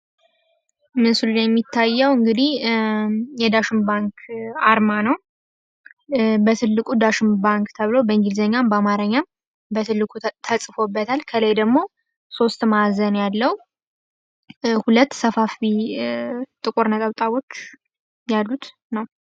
ምስሉ ላይ የሚታየው እንግዲህ የዳሽን ባንክ አርማ ነው። በትልቁ ዳሽን ባንክ ተብሎ በእንግሊዝኛም በአማርኛም በትልቁ ተፅፎበታል ከላይ ደግሞ ሶስት ማዕዘን ያለው ሁለት ሰፋፊ ጥቁር ነጠብጣቦች ያሉት ነው።